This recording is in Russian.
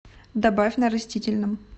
добавь на растительном